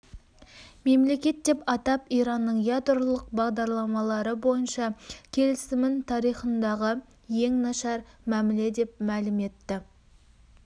мемлекет деп атап иранның ядролық бағдарламалары бойынша келісімін тарихындағы ең нашар мәміле деп мәлім етті